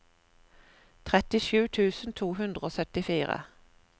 trettisju tusen to hundre og syttifire